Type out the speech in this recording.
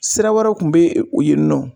Sira wɛrɛw kun be yen nɔ